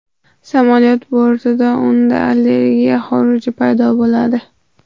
Samolyot bortida unda allergiya xuruji paydo bo‘ladi.